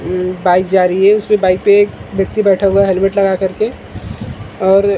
अम bike जा रही है उसपे बाइक पे एक व्यक्ति बैठा हुआ है हैलमेट लगाकर के और --